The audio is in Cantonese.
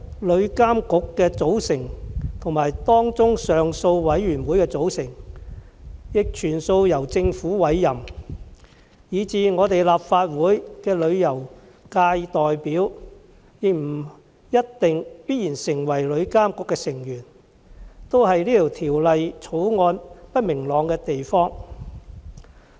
旅監局的成員及上訴委員會的成員，全數由政府委任，以致立法會的旅遊界代表亦不一定必然成為旅監局的成員，這是《條例草案》不明朗的地方。